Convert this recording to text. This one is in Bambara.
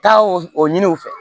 Taa o ɲini u fɛ